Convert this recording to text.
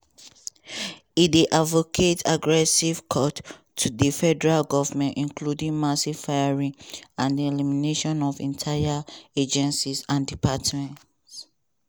e dey advocate aggressive cuts to di federal govment including mass firings and di eliminations of entire agencies and departments.